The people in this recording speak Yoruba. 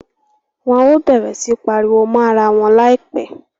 Wọn o bẹrẹ si pariwo mọ àrà wọn laipẹ